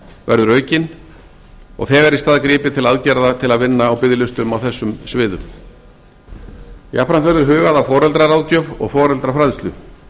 verður aukin og þegar í stað gripið til aðgerða til að vinna á biðlistum á þessum sviðum jafnframt verður hugað að foreldraráðgjöf og foreldrafræðslu